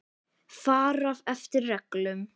Fara eftir reglum.